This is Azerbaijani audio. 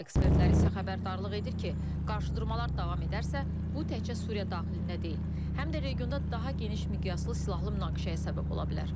Ekspertlər isə xəbərdarlıq edir ki, qarşıdurmalar davam edərsə, bu təkcə Suriya daxilində deyil, həm də regionda daha geniş miqyaslı silahlı münaqişəyə səbəb ola bilər.